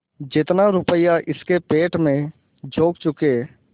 जितना रुपया इसके पेट में झोंक चुके